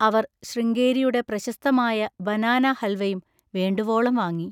അവർ ശൃംഗേരിയുടെ പ്രശസ്തമായ ബനാനാഹൽവയും വേണ്ടുവോളം വാങ്ങി.